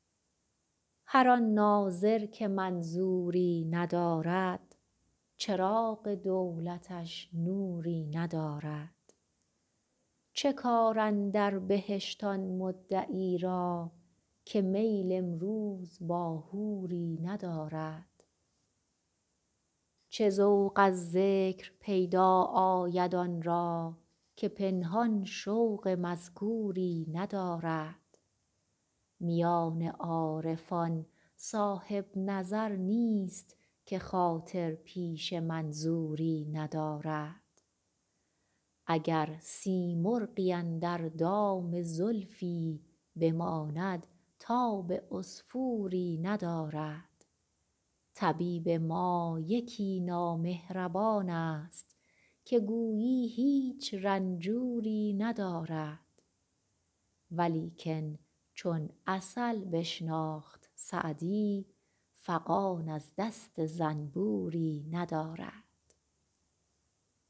هر آن ناظر که منظوری ندارد چراغ دولتش نوری ندارد چه کار اندر بهشت آن مدعی را که میل امروز با حوری ندارد چه ذوق از ذکر پیدا آید آن را که پنهان شوق مذکوری ندارد میان عارفان صاحب نظر نیست که خاطر پیش منظوری ندارد اگر سیمرغی اندر دام زلفی بماند تاب عصفوری ندارد طبیب ما یکی نامهربان ست که گویی هیچ رنجوری ندارد ولیکن چون عسل بشناخت سعدی فغان از دست زنبوری ندارد